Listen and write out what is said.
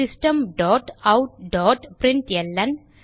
system dot out dot println